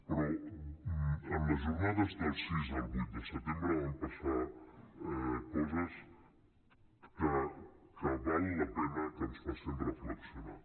però en les jornades del sis al vuit de setembre van passar coses que val la pena que ens facin reflexionar